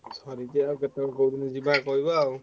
ସରିଛି ଆଉ କେତବେଳେ କୋଉଦିନ ଯିବା କହିବ ଆଉ।